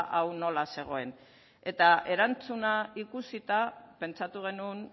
hau nola zegoen eta erantzuna ikusita pentsatu genuen